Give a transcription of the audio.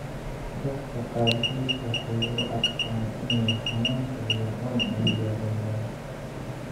Dadka qaarkiis waxay u arkaan inay xanuunka iyo cuncun yareeyaan.